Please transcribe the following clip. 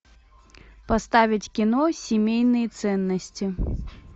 поставить кино семейные ценности